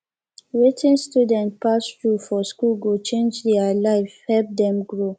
wetin students pass through for school go change their life help dem grow